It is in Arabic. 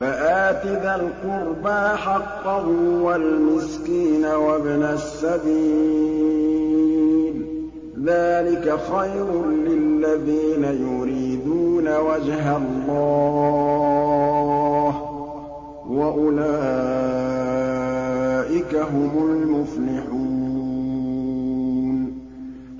فَآتِ ذَا الْقُرْبَىٰ حَقَّهُ وَالْمِسْكِينَ وَابْنَ السَّبِيلِ ۚ ذَٰلِكَ خَيْرٌ لِّلَّذِينَ يُرِيدُونَ وَجْهَ اللَّهِ ۖ وَأُولَٰئِكَ هُمُ الْمُفْلِحُونَ